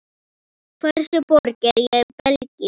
Stærstu borgir í Belgíu